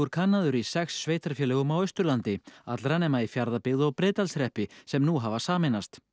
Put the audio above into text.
kannaður í sex sveitarfélögum á Austurlandi öllum nema í Fjarðabyggð og Breiðdalshreppi sem nú hafa sameinast